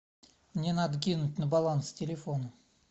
мне надо кинуть на баланс телефона